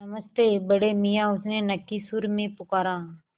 नमस्ते बड़े मियाँ उसने नक्की सुर में पुकारा